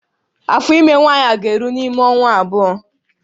Afọ ime nwaanyị a ga-eru n'ime ọnwa abụọ